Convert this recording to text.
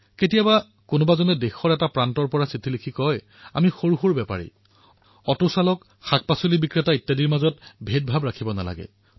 কেতিয়াবা দেশৰ এটা প্ৰান্তৰ পৰা পত্ৰ লিখি জনায় আমি সৰু সৰু দোকানী অটো চালক শাকপাচলি বিক্ৰেতা এনে লোকৰ সৈতে অধিক দৰদাম কৰা উচিত নহয়